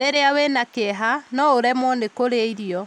Rĩrĩa ũrĩ na kĩeha, no ũremwo nĩ kũrĩa irio.